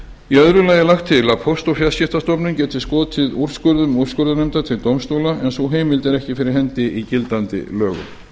í öðru lagi er lagt til að póst og fjarskiptastofnun geti skotið úrskurðum úrskurðarnefndar til dómstóla en sú heimild er ekki fyrir hendi í gildandi lögum